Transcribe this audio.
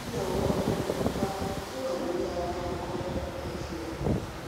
kí ni àwọn àbùkù pupa tó wà lórí ara nkan omokunrin fi hàn